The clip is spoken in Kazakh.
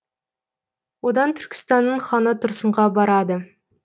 одан түркістанның ханы тұрсынға барады